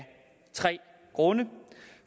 tre grunde